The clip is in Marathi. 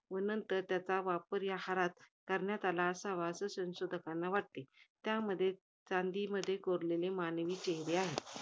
व नंतर त्याचा वापर या हारात, करण्यात आला असावा असं संशोधकांना वाटते. त्यामध्ये, चांदीमध्ये कोरलेले मानवी चेहरे आहेत.